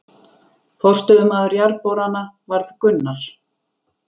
Forstöðumaður Jarðborana varð Gunnar